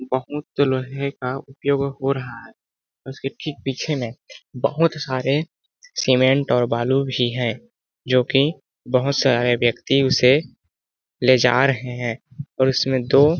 बहुत लोहे का उपयोग हो रहा है उसके ठीक पीछे में बहुत सारे सीमेंट और बालू भी हैं जो कि बहुत सारे व्यक्ति उसे ले जा रहे हैं और उसमें दो --